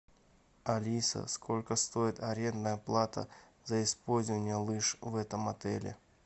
алиса сколько стоит арендная плата за использование лыж в этом отеле